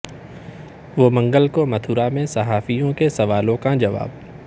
وہ منگل کو متھرا میں صحافیوں کے سوالوں کا جواب